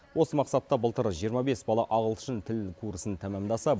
осы мақсатта былтыр жиырма бес бала ағылшын тілі курсын тәмамдаса